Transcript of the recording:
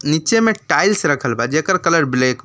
नीचे में टाइल्स रखल बा जेकर कलर ब्लैक --